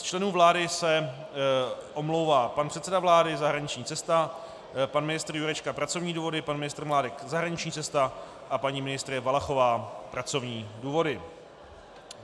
Z členů vlády se omlouvá pan předseda vlády - zahraniční cesta, pan ministr Jurečka - pracovní důvody, pan ministr Mládek - zahraniční cesta a paní ministryně Valachová - pracovní důvody.